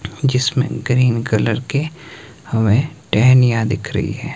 जिसमें green colour के हमें टहनियां दिख रही है।